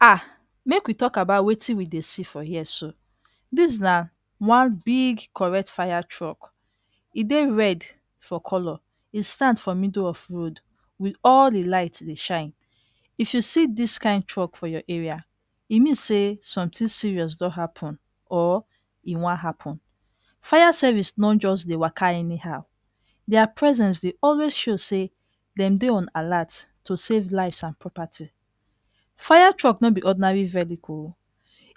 um Make we talk about wetin we dey see for here so. Dis na one big correct fire truck. E dey red for colour, e stand for middle of road with all de light dey shine. If you see dis kind truck for your area, e mean sey something serious don happen or e wan happen. Fire service no just dey waka anyhow, dia presence dey always show sey dem dey on alert to save lives and property. Fire truck no be ordinary vehicle o!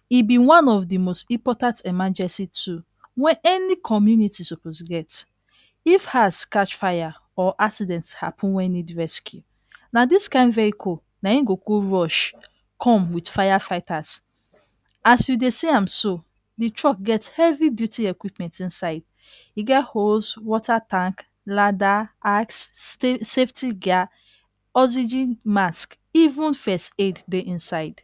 E be one of de most important emergency tool wey any community suppose get. If house catch fire or accident happen wey need rescue, na dis kind vehicle naim go go rush come with firefighters. As you dey see am so, de truck get heavy duty equipment inside. E get host, water tank, ladder, axe, safety gear, oxygen mask, even first aid dey inside.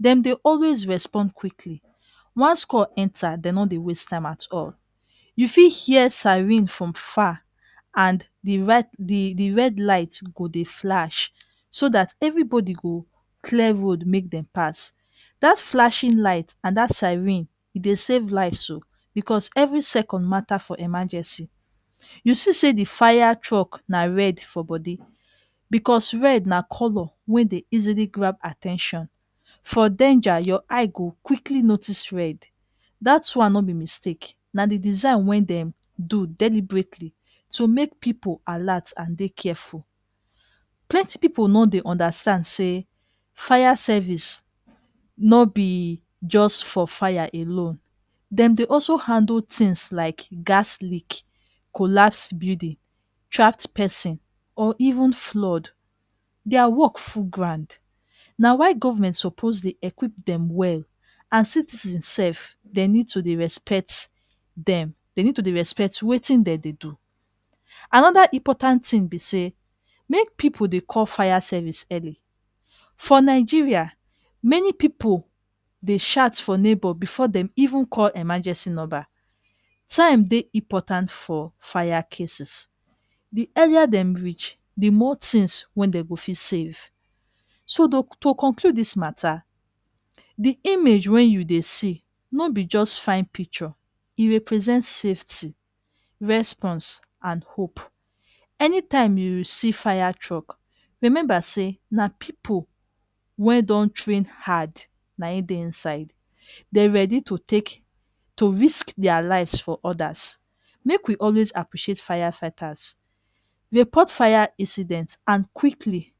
Dem dey always respond quickly, once call enter dem no dey waste time at all. You fit hear siren from far and the de de red light go dey flash so that everybody go clear road make dem pass. Dat flashing light and that siren e dey save lives o, because every second mata for emergency. You see sey de fire truck na red for body, because red na colour wey dey easily grab at ten tion. For danger, your eye go quickly notice red. Dat one no be mistake, na de design wey dem do deliberately to make pipu alert and dey careful. Plenty pipu no dey understand sey fire service no be just for fire alone. Dem dey also handle things like gas leak, collapse building, trapped pesin or even flood. Dia work full ground. Na why government suppose dey equip dem well and citizen sef, dem need to dey respect dem. Dem need to dey respect wetin de dey do. Another important thing be sey, make pipu dey call fire service early. For Nigeria, many pipu dey shout for neighbour before dem even call emergency number. Time dey important for fire cases. De earlier dem reach, the more things wey dem go fit save. So to conclude dis mata, the image wey you dey see no be just fine picture, e represent safety, response and hope. Anytime you see fire truck, remember sey na pipu wey don train hard naim dey inside. Dem ready to take to risk dia lives for others. Make we always appreciate firefighters, report fire incident and quickly,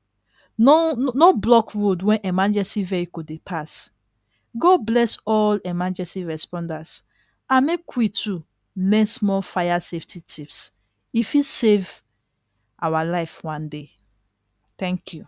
no no block road when emergency vehicle dey pass. God bless all emergency responders and make we too learn small firefighting tips e fit save awa life one day. Thank you!